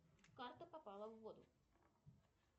карта попала в воду